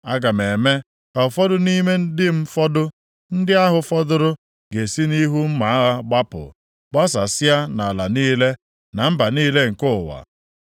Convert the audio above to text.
“ ‘Ma aga m eme ka ụfọdụ nʼime ndị m fọdụ. Ndị ahụ fọdụrụ ga-esi nʼihu mma agha gbapụ, gbasasịa nʼala niile, na mba niile nke ụwa.